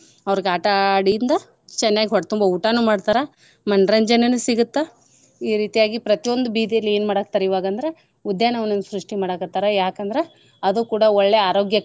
ಅವ್ರ್ಗ್ ಆಟಾ ಆಡಿಂದ ಚೆನ್ನಾಗ್ ಹೊಟ್ ತುಂಬ ಊಟಾನು ಮಾಡ್ತಾರ ಮನ್ರಂಜನೇನೂ ಸಿಗುತ್ತ ಈ ರೀತಿಯಾಗಿ ಪ್ರತಿಯೊಂದು ಬೀದಿಯಲ್ಲಿ ಏನ್ ಮಾಡಾಕತ್ತಾರ ಇವಾಗ್ ಅಂದ್ರ ಉದ್ಯಾನ ವನವನ್ನ ಸೃಷ್ಟಿ ಮಾಡಕತ್ತಾರ ಯಾಕಂದ್ರ ಅದು ಕೂಡಾ ಒಳ್ಳೆ ಆರೋಗ್ಯಕ್ಕಾಗಿ .